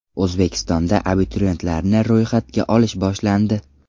O‘zbekistonda abituriyentlarni ro‘yxatga olish boshlandi.